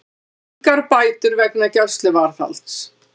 Engar bætur vegna gæsluvarðhalds